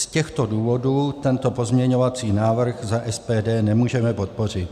Z těchto důvodů tento pozměňovací návrh za SPD nemůžeme podpořit.